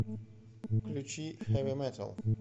включи хэви метал